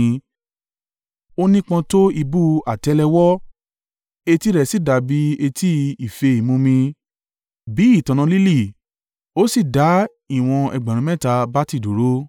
Ó nípọn tó ìbú àtẹ́lẹwọ́, etí rẹ̀ sì dàbí etí ife ìmumi, bí i ìtànná lílì ó sì dá ìwọ̀n ẹgbẹ̀rún mẹ́ta (3,000) bati dúró.